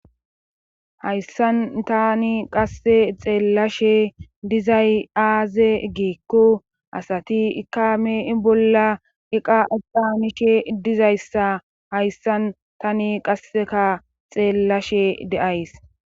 hayssan tani qasse xeellashe dizay aaze giikko asati ika meei bolla iqa epphaanishe dizayssa hayssan tani qasseka xeellashe de7ays.